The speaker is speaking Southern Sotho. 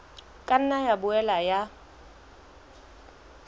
ka nna ya boela ya